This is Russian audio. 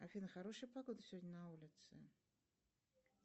афина хорошая погода сегодня на улице